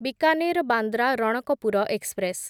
Bikaner Bandra Ranakpur express